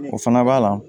O fana b'a la